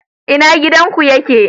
ina gidan ku yake?